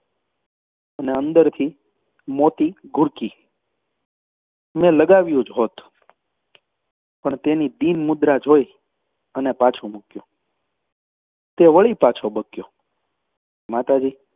અને અંદરથી મોતી ઘૂરકી. મેં લગાવ્યું જ હોત પણ તેની દીન મુદ્રા જોઈ પાછું મૂક્યું. તે વળી બક્યો માતાજી,